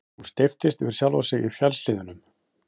Hún steyptist yfir sjálfa sig í fjallshlíðunum.